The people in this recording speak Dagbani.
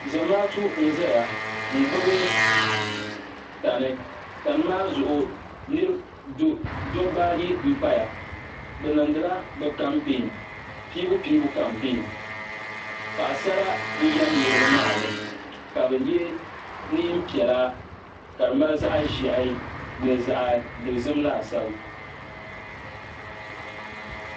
zamaatu n ʒɛya n gbubi tani tani maa zuɣu dabba ayi n paya bi niŋdila bi kampeen piibu piibu kampeen paɣasara n yɛm niraba maa ni ka bi yɛ neen piɛla ka di mali zaɣ ʒiɛhi ni zaɣ dozim laasabu